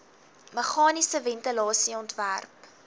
meganiese ventilasie ontwerp